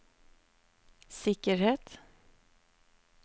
sikkerhet